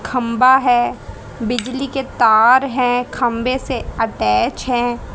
खंबा है बिजली के तार हैं खंभे से अटैच हैं।